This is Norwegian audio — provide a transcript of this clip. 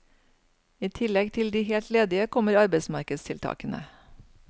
I tillegg til de helt ledige kommer arbeidsmarkedstiltakene.